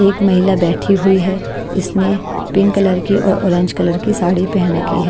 एक महिला बैठी हुई है इसने पिंक कलर की और ऑरेंज कलर की साड़ी पहन रखी है।